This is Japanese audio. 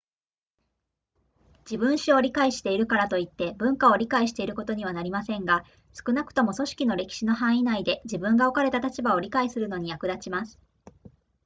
自分史を理解しているからといって文化を理解していることにはなりませんが少なくとも組織の歴史の範囲内で自分が置かれた立場を理解するのに役立ちます